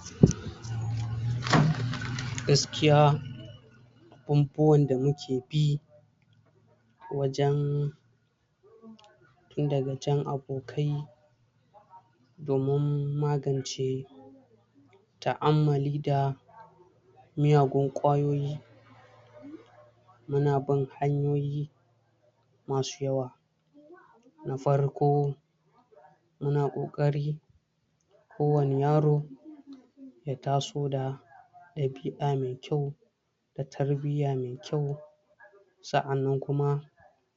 ?? gaskiya abubuwan da muke bi wajen tun daga jan abokai domin magance ta'ammali da miyagun kwayoyi muna bin hanyoyi masu yawa na farko muna ƙokari ko wani yaro ya taso da ɗabi'a mai kyau da tarbiyya mai kyua sa'annan kuma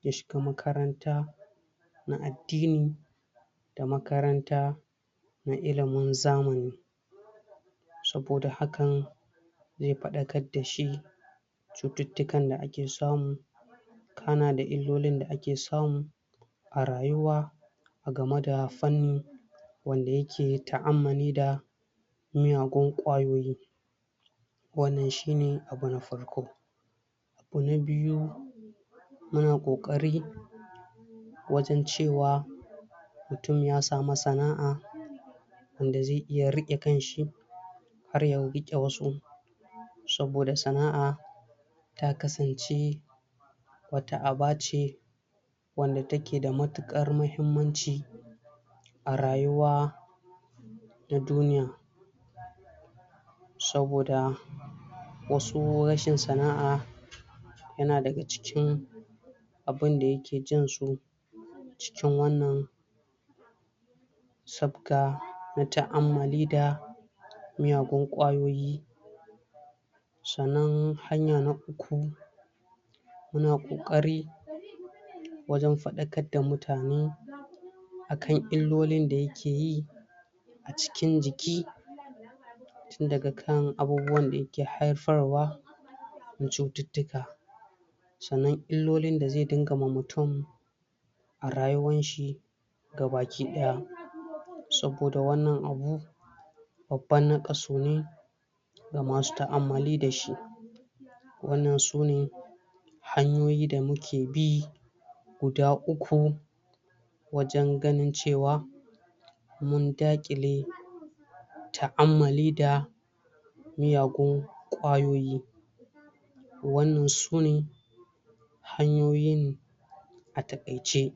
ya shiga makaranta na addini da makaranta na ilimin zamani saboda hakan zai faɗakar dashi cututtukan da ake samu kana da illolin da ake samu a rayuwa game da fanni wanda yaka ta'ammuli da miyagun kwayoyi wannan shine abu na farko abu na biyu muna kokari wajen cewa mutum ya sami sana'a wanda zai iya riƙe kanshi har ya rike wasu saboda sana'a ta kasance wata aba ce wanda take da matukar mahimanci a rayuwa da duniya saboda wasu rashin sana'a yana daga cikin abinda yake jansu cikin wannan sabga na ta'ammuli da miyagun kwayoyi sannan hanya na uku muna kokari wajen faɗakar da mutane akan illolin da yakeyi a cikin jiki tun daga kan abubuwan da yake haifarwa na cututtuka sannan illolin da zai dinga ma mutum a rayuwarshi gabaki ɗaya saboda wannan abu babban nakasu ne ga masu ta'ammali dashi wannan sune hanyoyi da muke bi guda uku wajen ganin cewa mun dakile ta'ammali da miiyagun kwayoyi wannan sune hanyoyin a takaice